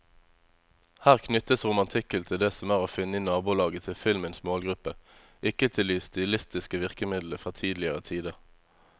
Her knyttes romantikken til det som er å finne i nabolaget til filmens målgruppe, ikke til de stilistiske virkemidlene fra tidligere tider.